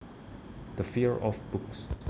The fear of books